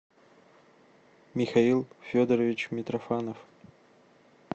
михаил федорович митрофанов